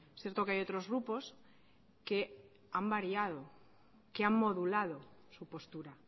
cierto que hay otros grupos que han variado que han modulado su postura